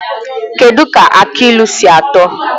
Kedụ ka aki ilu si atọ?